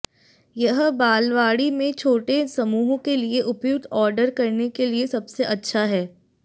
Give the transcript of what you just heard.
यह बालवाड़ी में छोटे समूहों के लिए उपयुक्त ऑर्डर करने के लिए सबसे अच्छा है